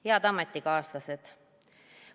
Head ametikaaslased!